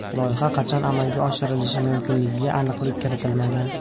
Loyiha qachon amalga oshirilishi mumkinligiga aniqlik kiritilmagan.